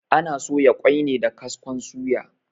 Ana soya ƙoi ne da kaskon suya.